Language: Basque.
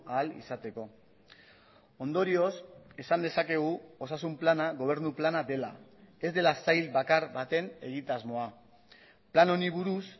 ahal izateko ondorioz esan dezakegu osasun plana gobernu plana dela ez dela sail bakar baten egitasmoa plan honi buruz